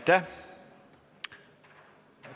Aitäh!